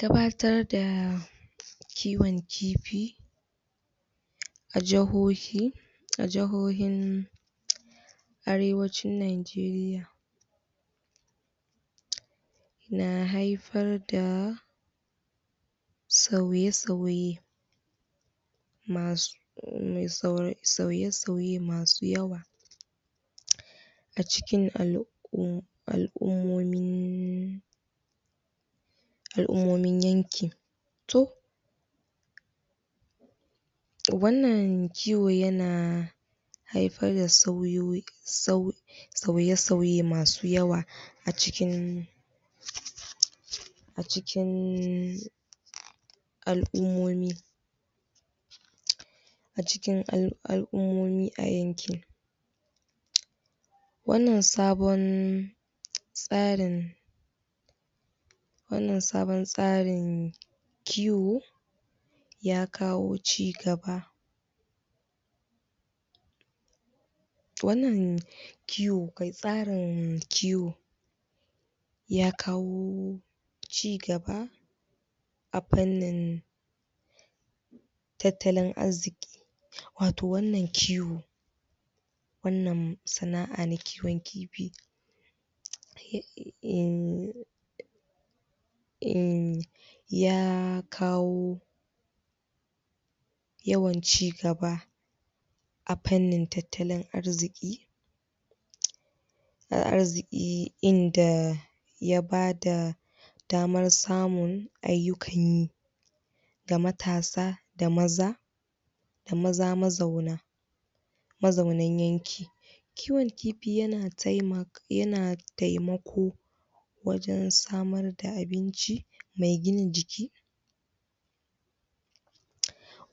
Gabatar da kiwon kifi a jahohia a jahohion arewacin nageriya na haifar da sauye sauye masu sauye sauye masu yawa a cikin al'uma al'ummomi yankin to wannan kiwo yana haifar da sauyoyi sauye masu yawa cikin a cikin al'umomi a cikin al'ummomi a yankin wannan sabon tsarin wannan sabon tsarin kiwo ya kawo ci gaba wannan kiwo tsarin kiwo ya kawo cigaba a fainnin atttalin arziki wato wannan kiwo wannan sana'a na kiwon kifi ehn ehn ya kawo yawan ci gaba a fannin tattalin arziki a arziki inda ya bada damar samun ayukanyi ga matasa da maza maza mazaunan mazaunan yanki kiwon kifi yana taimaka yana taimako wajen samar da abinci mai gina jiki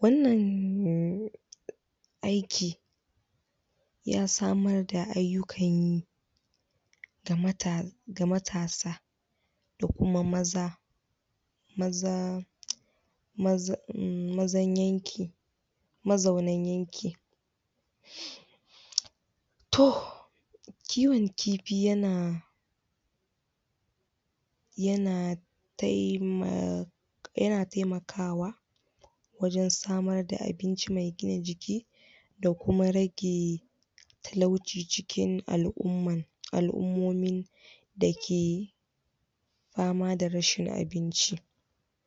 wannan aiki ya samar da ayukan yi ga mata ga matasa ko kuma maza maza mzan yankin mazaunan yankin to kiwon kifi yana yana taimaka yana taimakawa wajen samar da abinci me gina jiki da kuma rage talauci cikin al'umman al'ummomin dake fama da rashin abinci